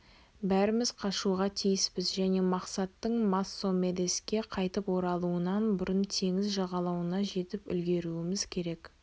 бәріміз бірге қашуға тиіспіз және мақсаттың моссомедеске қайтып оралуынан бұрын теңіз жағалауына жетіп үлгеруіміз керек